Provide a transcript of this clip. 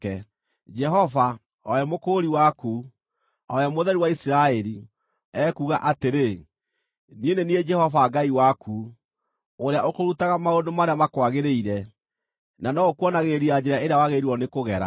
Jehova, o we Mũkũũri waku, o we Mũtheru wa Isiraeli, ekuuga atĩrĩ: “Niĩ nĩ niĩ Jehova Ngai waku, ũrĩa ũkũrutaga maũndũ marĩa makwagĩrĩire, na nowe ũkuonagĩrĩria njĩra ĩrĩa wagĩrĩirwo nĩkũgera.